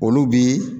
Olu bi